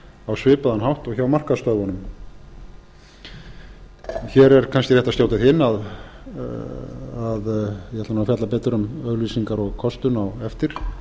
á svipaðan hátt og hjá markaðsstöðvunum hér er kannski rétt að skjóta því inn að ég ætla nú að fjalla betur um auglýsingar og kostun á eftir